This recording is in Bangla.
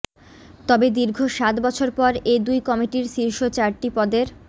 তবে দীর্ঘ সাত বছর পর এ দুই কমিটির র্শীষ চারটি পদের